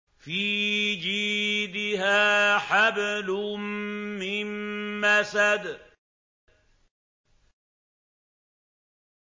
فِي جِيدِهَا حَبْلٌ مِّن مَّسَدٍ